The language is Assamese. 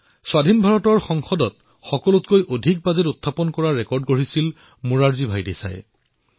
স্বতন্ত্ৰ ভাৰতত সবাতোকৈ অধিক বাজেট প্ৰস্তুত কৰাৰ অভিলেখ মোৰাৰজী ভাই দেশাইৰ নামতেই আছে